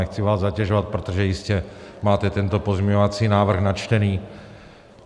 Nechci vás zatěžovat, protože jistě máte tento pozměňovací návrh načtený.